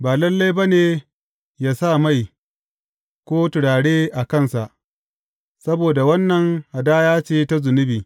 Ba lalle ba ne yă sa mai ko turare a kansa, saboda wannan hadaya ce ta zunubi.